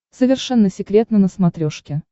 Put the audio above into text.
совершенно секретно на смотрешке